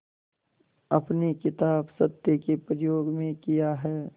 अपनी किताब सत्य के प्रयोग में किया है